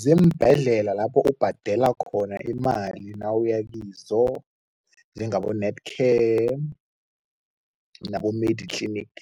Ziimbhedlela lapho ubhadela khona imali nawuya kizo, njengabo-Netcare nabo-Mediclinic,